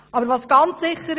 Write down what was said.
Eines ist jedoch sicher: